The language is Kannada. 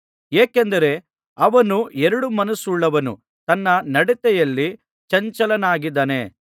ಏಕೆಂದರೆ ಅವನು ಎರಡು ಮನಸ್ಸುಳ್ಳವನು ತನ್ನ ನಡತೆಯಲ್ಲಿ ಚಂಚಲನಾಗಿದ್ದಾನೆ